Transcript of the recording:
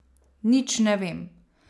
Nič ne vem.